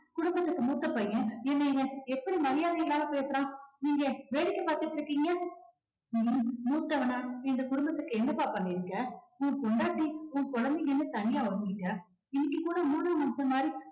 குடும்பத்துக்கு மூத்த பையன் என்ன இவன் எப்படி மரியாதை இல்லாம பேசுறான். நீங்க வேடிக்கை பார்த்துகிட்டு இருக்கீங்க நீ மூத்தவனா இந்த குடும்பத்துக்கு என்னப்பா பண்ணிருக்க. உன் பொண்டாட்டி உன் குழந்தைங்கன்னு தனியா ஒதுங்கிட்டே இன்னைக்கு கூட மூணாவது மனுஷன் மாதிரி